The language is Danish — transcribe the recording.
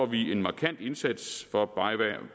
vi en markant indsats for